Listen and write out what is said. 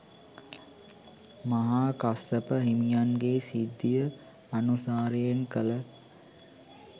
මහා කස්සප හිමියන්ගේ සිද්ධිය අනුසාරයෙන් කළ